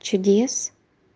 чудес